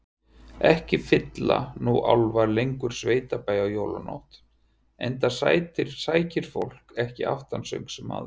Ekki fylla nú álfar lengur sveitabæi á jólanótt, enda sækir fólk ekki aftansöng sem áður.